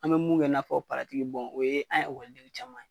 An bo mun kɛ n'a fɔ paratiki bɔn o ye an ye an ekɔliden caman ye